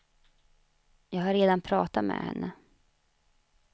Jag har redan pratat med henne.